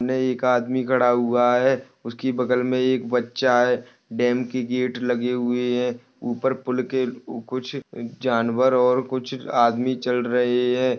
ने एक आदमी खड़ा हुआ है उसकी बगल में एक बच्चा है डैम के गेट लगे हुए हैं ऊपर पुल के कुछ जानवर और कुछ आदमी चल रहे हैं।